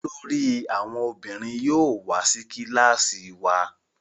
olórí àwọn ọmọbìnrin yóò wá sí kilasi wá.